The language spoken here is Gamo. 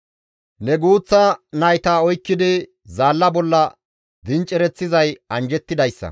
Ne guuththa nayta oykkidi zaalla bolla dincereththizay anjjettidayssa.